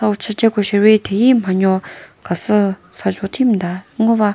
ushiche ko shiri thegi manyo khasü sazho thi müta ngova.